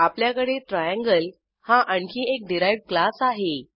आपल्याकडे ट्रायंगल हा आणखी एक डिराइव्ह्ड क्लास आहे